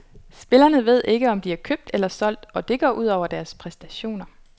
Spillerne ved ikke om de er købt eller solgt og det går ud over deres præstationer.